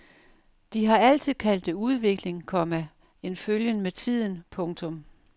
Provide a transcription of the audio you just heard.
De har altid kaldt det udvikling, komma en følgen med tiden. punktum